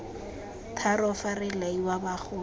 tharo fa re laiwa bagolo